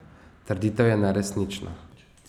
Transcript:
Trditev je neresnična.